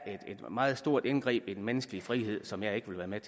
er et meget stort indgreb i den menneskelige frihed som jeg ikke vil være med